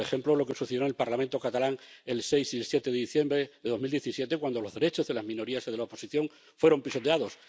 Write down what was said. Por ejemplo, lo que sucedió en el Parlamento catalán el 6 y el 7 de diciembre de 2017, cuando los derechos de las minorías o de la oposición fueron pisoteados.